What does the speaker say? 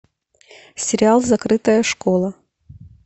сериал закрытая школа